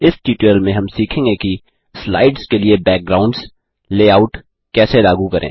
इस ट्यूटोरियल में हम यह सीखेंगे कि स्लाइड्स के लिए बैकग्राउंड्स लेआउट कैसे लागू करें